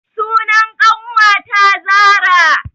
Sunan ƙanwata zara